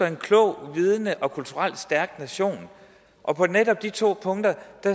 en klog vidende og kulturelt stærk nation og på netop de to punkter